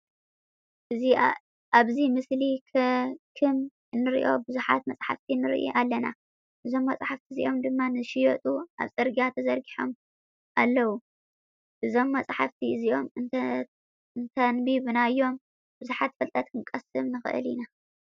ኣብዚ ምስሊ ክም እንሪኦ ቡዙሓተ መፅሓፍቲ ንርኢ ኣለና። እዞም መፅሓፍቲ እዚኦም ድማ ንክሽየጡ ኣብ ፅርግያ ተዘርጊሖም ኣለዉ። እዞም መፅሓፍቲ እዚኦም እንተንቢብናዮም ቡዙሕ ፍልጠት ክንቀስመ ንክእል ኢና።